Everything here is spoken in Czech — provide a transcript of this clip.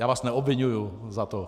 Já vás neobviňuji za to.